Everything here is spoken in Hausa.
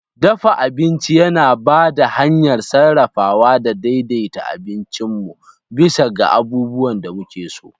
Dafa abinci yana ba da hanyar sarrafawa da daidaita abincin mu bisa ga abubuwan da muke so.